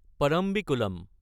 Parambikulam